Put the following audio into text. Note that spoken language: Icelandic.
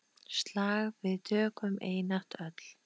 Slag við tökum einatt öll.